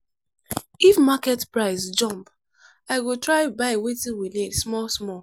if market price jump i go try buy wetin we need small-small.